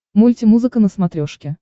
мультимузыка на смотрешке